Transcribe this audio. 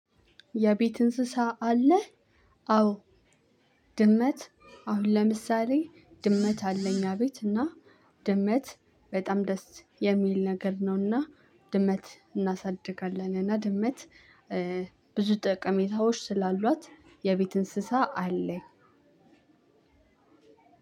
የቤት እንስሳ አለህ? አዎ። ድመት አሁን ለምሳሌ ድመት አለ። እኛቤት እና ድመት በጣም ደስ የሚል ነገር ነውና። ድመት እናሳድጋለን እና ድመት ብዙ ጠቀሜታዎች ስላሏት የቤት እንስሳ አለኝ።